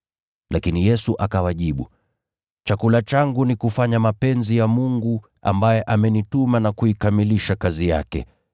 Lakini Yesu akawajibu, “Chakula changu ni kufanya mapenzi ya Mungu ambaye amenituma na kuikamilisha kazi yake.